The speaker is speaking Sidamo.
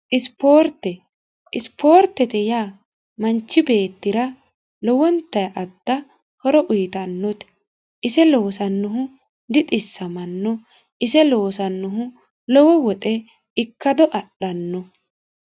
isipoorte isipoortete yaa manchi beettira lowwonta adda horo uyitannote ise lowosannohu dixissamanno ise loosannohu lowo woxe ikkado adhanno